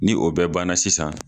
Ni o bɛɛ banna sisan.